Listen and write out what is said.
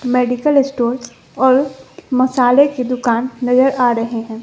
Medical store और मसाले की दुकान नजर आ रहे हैं।